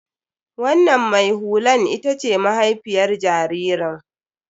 Wannan mai hulan ita ce mahaifiyar jaririn.